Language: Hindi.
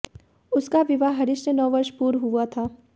उसका विवाह हरीश से नौ वर्ष पूर्व हुआ था